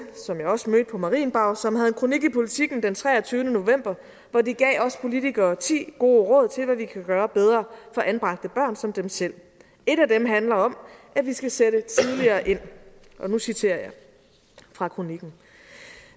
som jeg også mødte på marienborg som havde en kronik i politiken den treogtyvende november hvor de gav os politikere ti gode råd til hvad vi kan gøre bedre for anbragte børn som dem selv et af dem handler om at vi skal sætte tidligere ind og nu citerer jeg fra kronikken